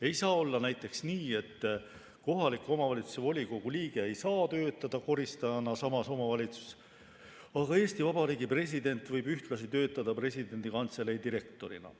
Ei saa olla näiteks nii, et kohaliku omavalitsuse volikogu liige ei saa töötada koristajana samas omavalitsuses, aga Eesti Vabariigi president võib ühtlasi töötada presidendi kantselei direktorina.